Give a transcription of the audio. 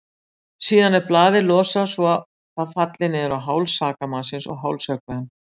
Síðan er blaðið losað svo það falli niður á háls sakamannsins og hálshöggvi hann.